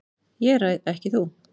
ÉG ræð EKKI þú.